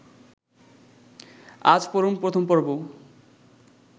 আজ পড়ুন প্রথম পর্ব